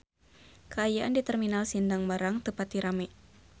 Kaayaan di Terminal Sindang Barang teu pati rame